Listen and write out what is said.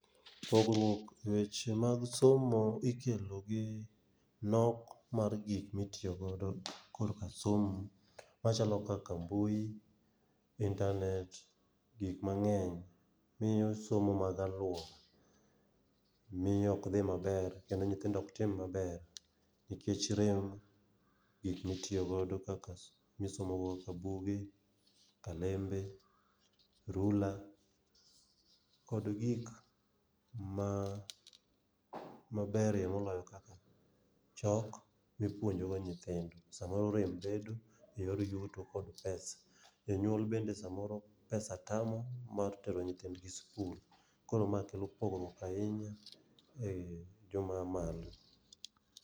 Pogruok e weche mag somo ikelo gi nok mar gik mitiyo godo korka somo machalo kaka mbui, internet, gik mang'eny. Miyo somo mag aluora miyo ok dhi maber kendo nyithindo ok tim maber, nikech rem ,gik mitiyo godo kaka, misomo go kaka buge, kalembe, rula kod gik maber ye moloyo kaka chalk mipuonjogo nyithindo. Samoro rem bedo e yor yuto kod pesa. Jonyuol bede samoro pesa tamo mar tero nyithindgi sikul. Koro ma kelo pogruok ahinya e mamalo.